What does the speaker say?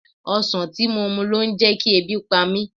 Ọsan tí mo mu ló ń jẹkí ebi pa mí.